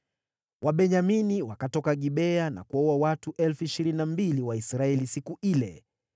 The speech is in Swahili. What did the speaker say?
Wabenyamini wakatoka Gibea na kuwaua watu 22,000 wa Israeli siku ile.